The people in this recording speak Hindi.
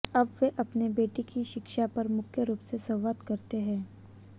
अब वे अपने बेटे की शिक्षा पर मुख्य रूप से संवाद करते हैं